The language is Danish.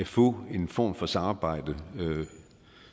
få en form for samarbejde